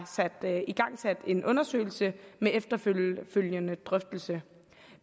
igangsat en undersøgelse med efterfølgende drøftelse